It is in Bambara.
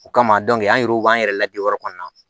O kama an yɛrɛw b'an yɛrɛ la biyɔrɔ kɔnɔna na